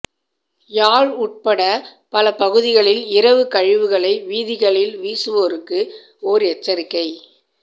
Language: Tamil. யாழ் உட்பட பல பகுதிகளில் இரவு கழிவுகளை வீதிகளில் வீசுவோருக்கு ஓர் எச்சரிக்கை